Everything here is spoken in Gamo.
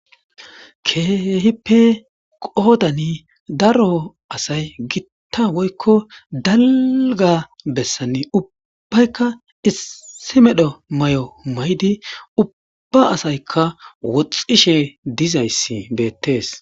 keehipe qoodani daro asay gitta woykko dalga bessani ubbaykka issi medho may7o may7di ubba asaykka woxxishe dizayssi beettees